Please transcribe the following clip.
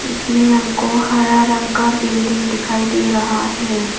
इसमें हमको हरा रंग का बिल्डिंग दिखाई दे रहा है।